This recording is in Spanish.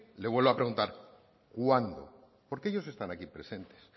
le vuelvo a preguntar cuándo porque ellos están aquí presentes